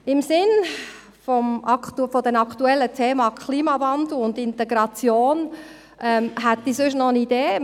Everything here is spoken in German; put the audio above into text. Im Sinne der aktuellen Themen Klimawandel und Integration hätte ich noch eine Idee.